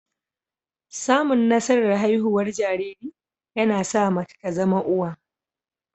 Samun nasarar haihuwar jariri, yana sa mace ta zama uwa